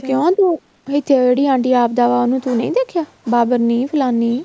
ਕਿਉ ਤੂੰ ਇੱਥੇ ਜਿਹੜੀਆਂ ਆਟੀਆਂ ਤੂੰ ਨਹੀਂ ਦੇਖਿਆ ਬਾਬਰਨੀਂ ਫਲਾਨੀਂ